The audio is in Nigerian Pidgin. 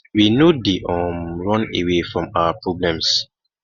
we no dey um run away from our problems